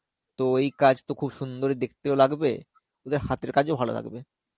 তো এই কাজতো খুব সুন্দরই দেখতে লাগবে. ওদের হাতের কাজও ভালো লাগবে.